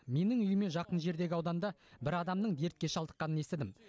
менің үйіме жақын жердегі ауданда бір адамның дертке шалдыққанын естідім